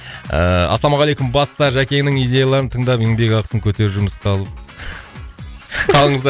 ыыы ассалаумағалейкум баста жәкеңнің идеяларын тыңдап еңбекақысын көтер жұмысқа ал